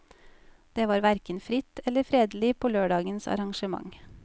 Det var hverken fritt eller fredelig på lørdagens arrangement.